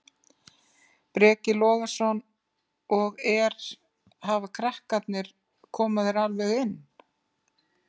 Breki Logason: Og er, hafa krakkarnir, koma þeir alveg inn?